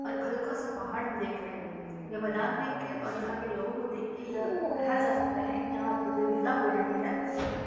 और एक हल्का सा पहाड हम देख रहे हैं | ये मैदान देख के और यहाँ के लोगो को देख के यह कहा जा सकता है कि यहाँ प्रतियोगिता हो रही है।